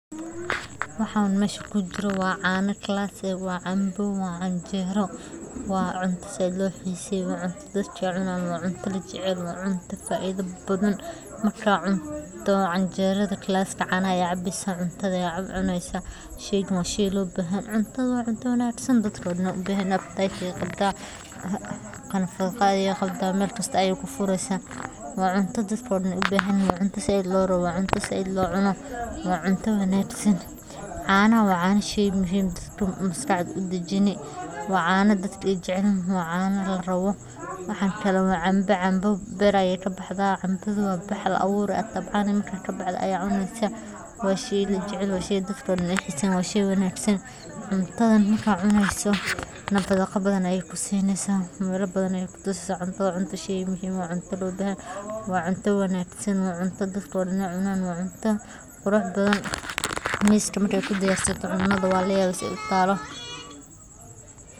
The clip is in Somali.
Subax wanaagsan, waxaad ku bilaabaysaa maalintaada si fiican oo aad cunto qura leh u qaadata, sida canjeero la kariyey oo ay weheliyaan xalwo iyo malawax, ama rooti oo lagu shiiday subag iyo malab, waxaad kaloo awoodaa inaad cunto caafimaad qabo sida fool madax adag oo saliid, beere qajeef, iyo ukun shiilan, ama bur cad oo la dhigi karo ayadoo lagu darayo miraha cagaaran ee tayo leh sida moos, liinbanbeelmo, iyo canana, sidaas oo kale waxa jira cuntooyin kale oo badan oo ay ka mid yihiin baasto subaxnimo oo la kariyo hilib digaagga ama beeyda.